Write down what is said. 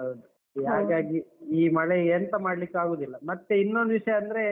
ಹೌದು. ಈಗ ಹಾಗಾಗಿ ಈ ಮಳೆ ಎಂತ ಮಾಡ್ಲಿಕಾಗುದಿಲ್ಲ. ಮತ್ತೆ ಇನೊಂದ್ ವಿಷಯ ಅಂದ್ರೆ